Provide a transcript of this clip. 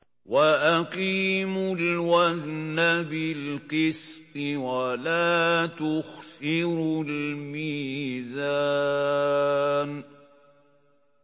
وَأَقِيمُوا الْوَزْنَ بِالْقِسْطِ وَلَا تُخْسِرُوا الْمِيزَانَ